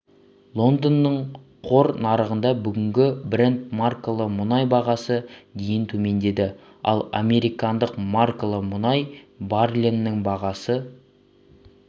лондонның қор нарығында бүгінгі брент маркалы мұнай бағасы дейін төмендеді ал американдық маркалы мұнай баррелінің бағасы